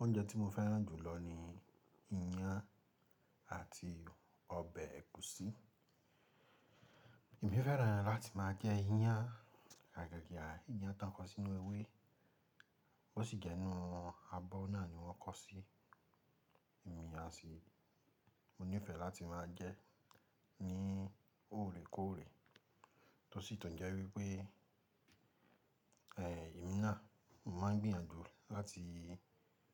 Oúnjẹ tí mo fẹ́ràn jù lọ ni ìyàn àti ọbẹ̀ ẹ̀gúsí. Èmi fẹ́ràn láti máa jẹ ìyàn, àgaga à ìyàn tó ń kó sínú ewé, bó sì jẹ́ inú abọ́ náà ni wọ́n kó sí. Ìmína sì, mo nífẹ̀ẹ́ láti máa jẹ ẹ́ ní òrèkóòrè. Tó sì tọ́ jẹ́ wípé, ẹ̀, ìmína, mo máa ń gbìyànjú láti,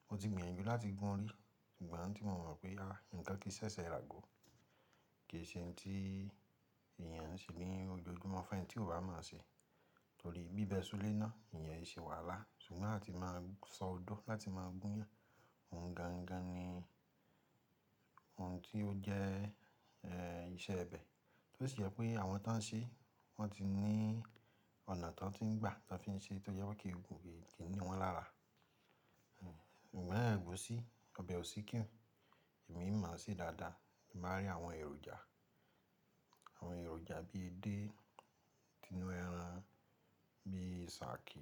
mo ti gbìyànjú láti gún ún rí, ìgbà náà tí mo mọ̀ pé, àh, nǹkan kì í ṣẹṣẹ rà gò, kì í ṣe ohun tí èèyàn ń ṣe ní ojoojúmọ́ fún ẹni tí ò bá mọ̀ ọ́ ṣe. Torí bíbẹ ṣulé náà, ìyẹn e ṣe wàhálà. Ṣùgbọ́n láti máa sọ odó láti máa gún ìyàn, ohun gangan ni ohun tí ó jẹ́, ẹ́, iṣẹ́ ẹbẹ̀. Tó sì je pé àwọn tí wọ́n ń ṣe, wọ́n ti ní ọ̀nà tó ń gbà tí wọ́n fi ń ṣe, tó jẹ́ pé kí ke ni wọ́n lára. Ẹ̀, ìna ẹ̀gúsí, ọbẹ̀ òsíkí, èmi máa sì dáadáa, èmi máa rí àwọn èròjà, àwọn èròjà bíi edé, inú ẹran, bíi sàákí,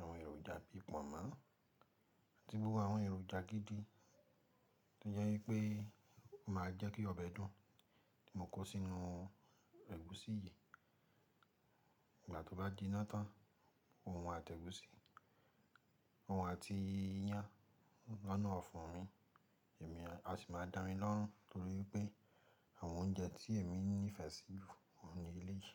àwọn èròjà bíi pọ̀nmọ́, àti gbogbo àwọn èròjà gidi, tó jẹ́ wípé, máa jẹ́ kí ọbẹ̀ dùn tí mo kó sínú ẹ̀gúsí yìí. Ìgbà tó bá ji na tán, òun àti ẹ̀gúsí, òun àti ìyàn lọ́nà ọ̀fun mi, èmi a sì máa da milọ́rùn, torí pé àwọn oúnjẹ tí èmi nífẹ̀ẹ́ sí wọ́n ni ilé yìí.